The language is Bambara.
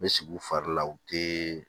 N bɛ sigi u fari la u tɛ